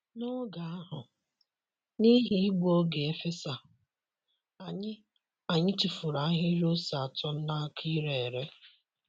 N’oge ahụ, n’ihi igbu oge efesa, anyị anyị tufuru ahịrị ose atọ n’aka ire ere.